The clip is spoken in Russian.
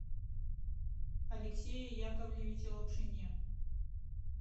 алексее яковлевиче лапшине